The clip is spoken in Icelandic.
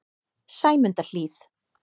Sæmundarhlíð